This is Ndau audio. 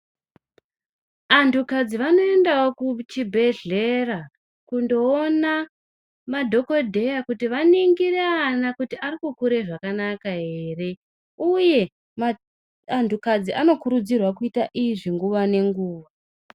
Antukadzi vanoendawo kuchibhedhlera kundoona madhokodheya kuti vaningire ana kuti ari kukure zvakanaka ere, uye antukadzi anokurudzirwa kuita izvi nguwa nenguwa.